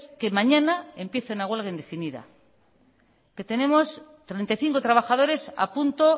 que mañana empieza una huelga indefinida que tenemos treinta y cinco trabajadores a punto